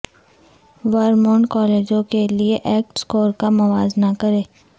Vermont کالجوں کے لئے ایکٹ سکور کا موازنہ کریں